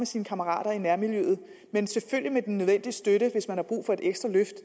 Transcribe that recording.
sine kammerater i nærmiljøet selvfølgelig med den nødvendige støtte hvis man har brug for et ekstra løft